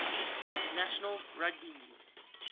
national rugby league